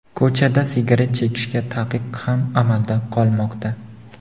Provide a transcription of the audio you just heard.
Ko‘chada sigaret chekishga taqiq ham amalda qolmoqda.